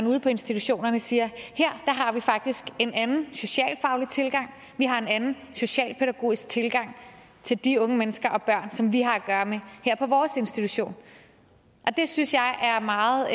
ude på institutionerne siger her har vi faktisk en anden socialfaglig tilgang vi har en anden socialpædagogisk tilgang til de unge mennesker og børn som vi har at gøre med her på vores institution og det synes jeg er meget